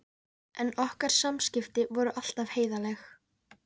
En okkar samskipti voru alltaf heiðarleg.